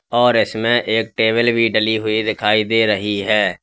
और इसमें एक टेबल भी डाली हुई दिखाई दे रही है।